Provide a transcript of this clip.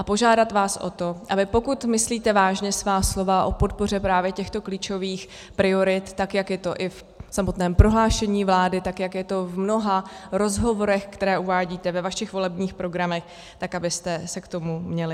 A požádám vás o to, aby, pokud myslíte vážně svá slova o podpoře právě těchto klíčových priorit, tak jak je to i v samotném prohlášení vlády, tak jak je to v mnoha rozhovorech, které uvádíte ve vašich volebních programech, tak abyste se k tomu měli.